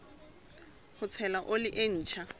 ho tshela oli e ntjha